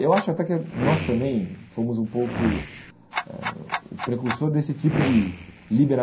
Eu acho até que nós também fomos um pouco eh o precursor desse tipo de